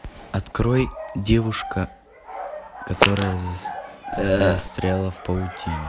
открой девушка которая застряла в паутине